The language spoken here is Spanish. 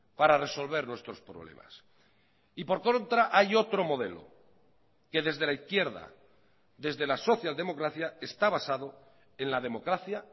para resolver nuestros problemas y por contra hay otro modelo que desde la izquierda desde la social democracia está basado en la democracia